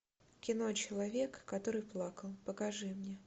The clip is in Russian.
кино человек который плакал покажи мне